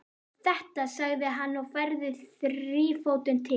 Þetta, sagði hann og færði þrífótinn til.